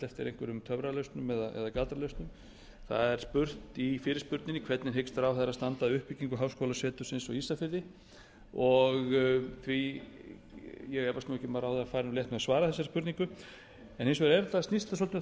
einhverjum töfralausnum eða galdralausnum það er spurt í fyrirspurninni hvernig hyggst ráðherra standa að uppbyggingu háskólasetursins á ísafirði ég efast ekki um að ráðherra fari létt með að svara þessari spurningu en hins vegar snýst það svolítið um